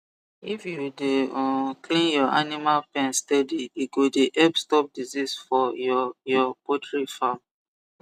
if you dey um clean your animal pen steady e go dey help stop disease for your your poultry farm